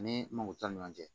Ani mako t'an ni ɲɔgɔn cɛ